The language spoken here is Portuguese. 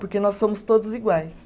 Porque nós somos todos iguais.